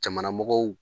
Jamanamɔgɔw